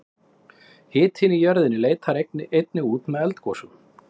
hitinn í jörðinni leitar einnig út með eldgosum